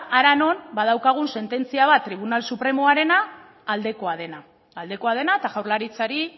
hara non badaukagun sententzia bat tribunal supremoarena aldekoa dena aldekoa dena eta jaurlaritzari